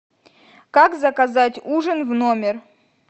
как заказать ужин в номер